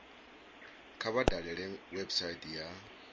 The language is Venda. kha vha dalele website ya